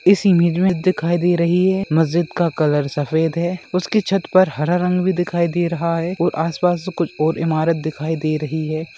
इस इमेज में दिखाई दे रही है मस्जिद का कलर सफेद है| उसकी छत पर हरा रंग भी दिखाई दे रहा है और आस-पास तो कुछ और इमारत दिखाई दे रही है।